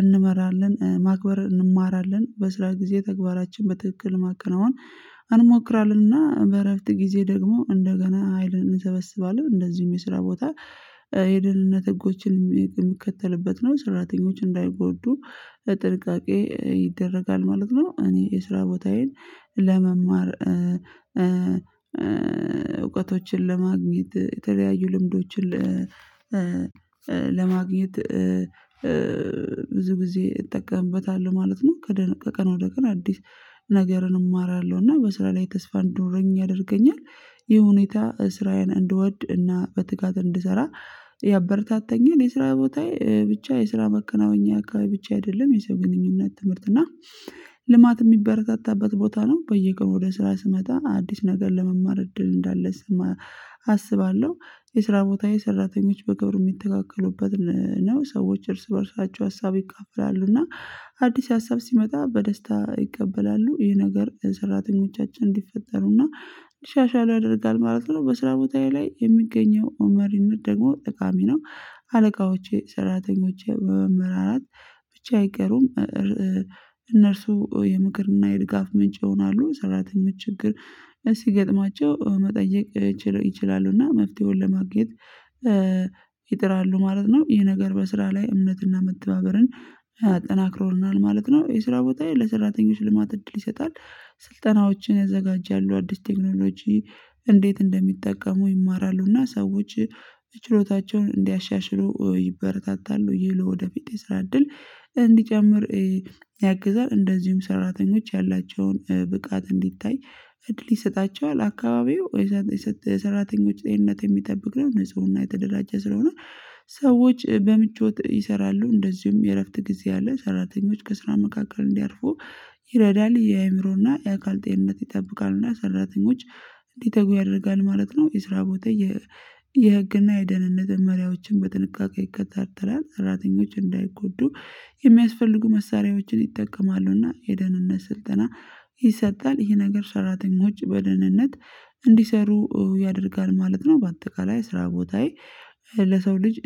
እንመራለን ማክበር እንማራለን። በስራ ጊዜ ተግባራችን በትክክል ማከናወን እንሞክራለን። እና በእረፍት ጊዜ ደግሞ እንደገና ሀይልን እንሰበስባለን። እንደዚሁም የስራ ቦታ የደህንነት ሕጎችን የሚከተልበት ነው። ሰራተኞች እንዳይጎዱ ጥንቃቄ ይደረጋል ማለት ነው። እኔ የስራ ቦታዬን ለመማር እውቀቶችን ለማግኘት የተለያዩ ልምዶችን ለማግኘት ብዙ ጊዜ እጠቀምበታል ማለት ነው። ከደን ከቀን ወደቀን አዲስ ነገርን እማራለሁ። እና በስራ ላይ ተስፋ እንዲኖረኝ ያደርገኛል። ይሄ ሁኔታ ስራዬን እንድወድ እና በትጋት እንድሰራ ያበረታታኛል። የስራ ቦታዬ ብቻ የስራ ማከናወኛ አካባቢ ብቻ አይደለም። የሰው ግንኙነት ትምህርት እና ልማት የሚበረታታበት ቦታ ነው። በየቀኑ ወደ ስራ ስመጣ አዲስ ነገር ለመማር እድል እንዳለ አስባለሁ። የስራ ቦታየ ሰራተኞች በክብር የሚተካከሉበት ነው። ሰዎች እርስ በእርሳቸው ሀሳብ ይካፈላሉ። እና አዲስ ሀሳብ ሲመጣ በደስታ ይቀበላሉ። ይሄ ነገር ሰራተኞቻችን እንዲፈጠሩ እና እንዲሻሻሉ ያደርጋል ማለት ነው። በስራ ቦታዬ ላይ የሚገኘው መሪነት ደግሞ ጠቃሚ ነው። አለቃዎቼ ሰራተኞች በመመራራት ብቻ አይቀሩም እነርሱ የምክርና የድጋፍ ምንጭ ይሆናሉ። ሰራተኞች ችግር ሲገጥማቸው መጠየቅ ይችላሉ። እና መፍትሄውን ለማግኘት ይጥራሉ ማለት ነው። ይሄ ነገር በስራ ላይ እምነትና መተባበርን አጠናክረውናል ማለት ነው። የስራ ቦታየ ለሰራተኞች ልማት እድል ይሰጣል። ስልጠናዎችን ያዘጋጃሉ፤ አዲስ ቴክኖሎጂ እንዴት እንደሚጠቀሙ ይማራሉ። እና ሰዎች ችሎታቸውን እንዲያሻሽሉ ይበረታታሉ። ይህ ለወደፊት ስራ እድል እንዲጨምር ያግዛል። እንደዚሁም ሰራተኞች ያላቸውን ብቃት እንዲታይ እድል ይሰጣቸዋል። አካባቢው የሰራተኞች ጤንነት የሚጠብቅ ነው ንፁህና የተደራጀ ስለሆነ። ሰዎች በምቾት ይሰራሉ። እንደዚሁም የእረፍት ጊዜ አለ። ሰራተኞች ከስራ መካከል እንዲያርፉ ይረዳል። የአእምሮና የአካል ጤንነት ይጠብቃል። እና ሰራተኞች እንዲተጉ ያደርጋል ማለት ነው። የስራ ቦታ የህግና የደህንነት መመሪያዎችን በጥንቃቄ ይከታተላል። ሰራተኞች እንዳይጎዱ የሚያስፈልጉ መሳሪያዎችን ይጠቀማሉ። እና የደህንነት ስልጠና ይሰጣል። ይሄ ነገር ሰራተኞች በደህንነት እንዲሰሩ ያደርጋል ማለት ነው። በአጠቃላይ ስራ ቦታየ ለሰው ልጅ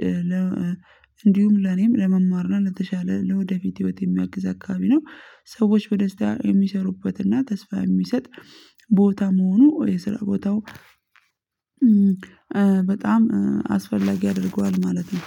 እንዲሁም ለኔም ለመማርና ለተሻለ ለወደፊት ህይወት የሚያግዝ አካባቢ ነው። ሰዎች በደስታ የሚሰሩበትና ተስፋ የሚሰጥ ቦታ መሆኑ የስራ ቦታው በጣም አስፈላጊ ያደርገዋል ማለት ነው።